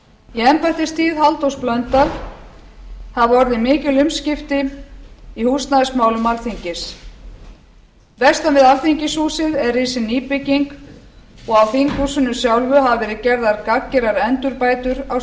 í embættistíð halldórs blöndals hafa orðið mikil umskipti í húsnæðismálum alþingis vestan við alþingishúsið er risin nýbygging og á þinghúsinu sjálfu hafa verið gerðar gagngerar endurbætur á